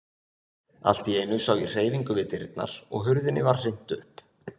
Allt í einu sá ég hreyfingu við dyrnar og hurðinni var hrint upp.